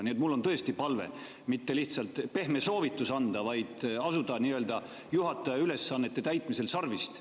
Nii et mul on tõesti palve mitte lihtsalt pehme soovitus anda, vaid haarata juhataja ülesannete täitmisel sarvist.